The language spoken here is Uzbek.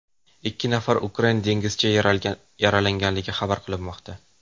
Ikki nafar ukrain dengizchi yaralangani xabar qilinmoqda.